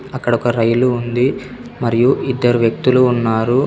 అక్కడొక రైలు ఉంది. మరియు ఇద్దరు వ్యక్తులు ఉన్నారు.